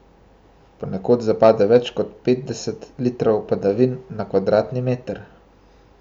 Ponekod zapade več kot petdeset litrov padavin na kvadratni meter.